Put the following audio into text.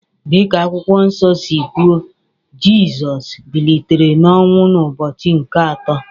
Dị ka Akwụkwọ Nsọ si kwuo, Jizọs bilitere n’ọnwụ n’ụbọchị nke atọ